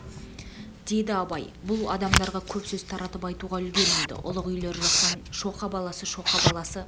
деді абай бұл адамдарға көп сөз таратып айтуға үлгермеді ұлық үйлер жақтан шоқа баласы шоқа баласы